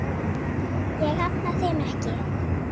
Ég hafna þeim ekki.